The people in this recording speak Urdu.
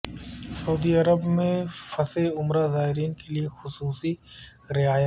سعودی عرب میں پھنسے عمرہ زائرین کیلئے خصوصی رعایت کا اعلان